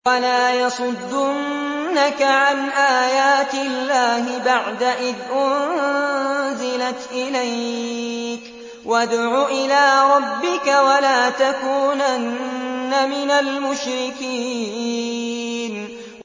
وَلَا يَصُدُّنَّكَ عَنْ آيَاتِ اللَّهِ بَعْدَ إِذْ أُنزِلَتْ إِلَيْكَ ۖ وَادْعُ إِلَىٰ رَبِّكَ ۖ وَلَا تَكُونَنَّ مِنَ الْمُشْرِكِينَ